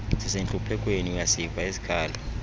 sisentluphekweni uyasiva isikhalo